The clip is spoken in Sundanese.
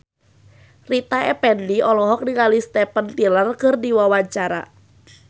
Rita Effendy olohok ningali Steven Tyler keur diwawancara